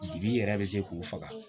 Bibi yɛrɛ bɛ se k'u faga